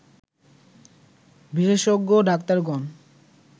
বিশেষজ্ঞ ডাক্তারগণ